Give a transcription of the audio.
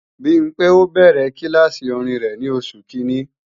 Bimpé ó bẹ̀rẹ̀ kílàsì orin rẹ̀ ní Oṣù Kiìíní